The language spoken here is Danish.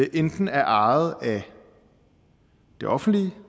enten er ejet af det offentlige